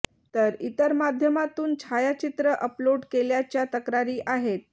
तर इतर माध्यमातून छायाचित्र अपलोड केल्याच्या तक्रारी आहेत